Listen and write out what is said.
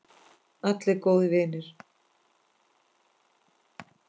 Allir góðir vinir.